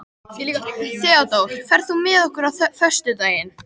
Theódór, ferð þú með okkur á föstudaginn?